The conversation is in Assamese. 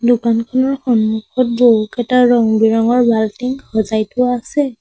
দোকানখনৰ সন্মুখত বহুকেইটা ৰং বিৰঙৰ বাল্টিং সজাই থোৱা আছে।